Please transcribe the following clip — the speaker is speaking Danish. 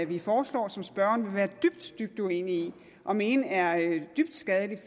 vi foreslår som spørgeren vil være dybt dybt uenig i og mene er dybt skadelige